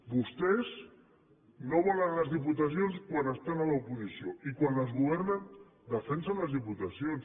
vostès no volen les diputacions quan estan a l’oposició i quan les governen defensen les diputacions